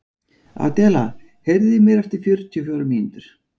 Adela, heyrðu í mér eftir fjörutíu og fjórar mínútur.